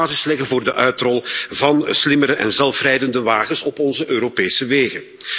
Ze moeten de basis leggen voor de uitrol van slimmere en zelfrijdende wagens op onze Europese wegen.